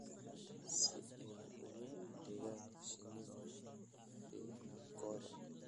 si ay ugu adeegaan shinnida finankooda.